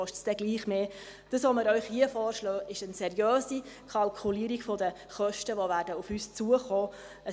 Das, was wir Ihnen hier vorschlagen, ist eine seriöse Kalkulierung der Kosten, die auf uns zukommen werden.